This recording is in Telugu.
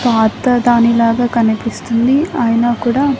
పాత దానిలాగా కనిపిస్తుంది ఐనా కూడా--